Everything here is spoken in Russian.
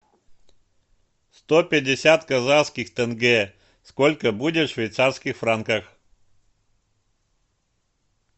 сто пятьдесят казахских тенге сколько будет в швейцарских франках